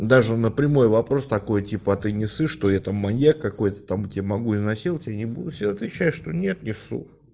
даже на прямой вопрос такой типа ты не боишься что я там маньяк какой-то там тебя могу изнасиловать они будут всегда отвечаю что нет не боюсь